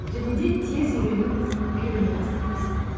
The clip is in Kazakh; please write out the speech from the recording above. және де тез үйрене бастаймыз